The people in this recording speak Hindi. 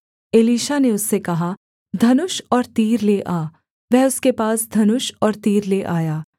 वह उसके पास धनुष और तीर ले आया